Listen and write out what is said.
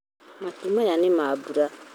Matu maya nĩ ma mbura